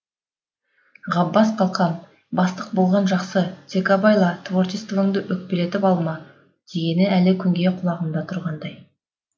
ғаббас қалқам бастық болған жақсы тек абайла творчествоңды өкпелетіп алма дегені де әлі күнге құлағымда тұрғандай